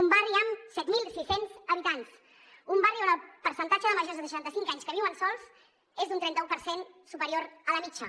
un barri amb set mil sis cents habitants un barri on el percentatge de majors de seixanta cinc anys que viuen sols és d’un trenta u per cent superior a la mitjana